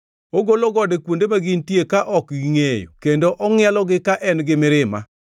Ogolo gode kuonde ma gintie ka ok gingʼeyo kendo ongʼielogi ka en gi mirima.